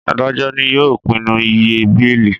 Adajọ ní yóò pinnu ìyè beeli